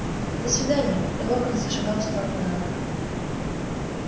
до свидания и локонс зашагал в сторону замка